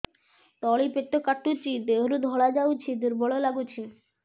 ତଳି ପେଟ କାଟୁଚି ଦେହରୁ ଧଳା ଯାଉଛି ଦୁର୍ବଳ ଲାଗୁଛି